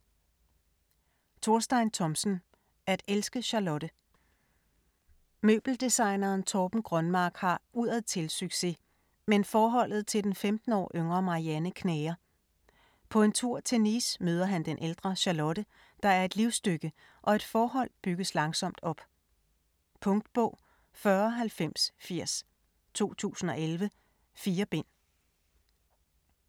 Thomsen, Thorstein: At elske Charlotte Møbeldesigneren Torben Grønmark har udadtil succes, men forholdet til den 15 år yngre Marianne knager. På en tur til Nice møder han den ældre Charlotte, der er et livstykke, og et forhold bygges langsomt op. Punktbog 409080 2011. 4 bind.